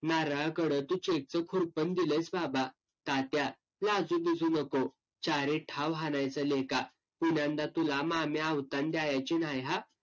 नारळाकडं तू cheque चं खुरपण दिलंयस बाबा, तात्या लाजुबिजू नको. ठाव हाणायचं लेका. पुन्यांदा तुला मामी अवतान द्यायची न्हाय हा,